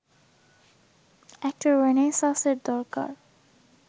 একটা রেনেসাঁসের দরকার